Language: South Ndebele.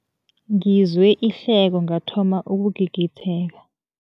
Ngizwe ihleko ngathoma ukugigitheka.